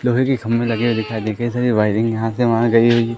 लोहे के खम्बे लगे दिखाई दिखे कई सारी वायरिंग यहां से वहां गई हुई--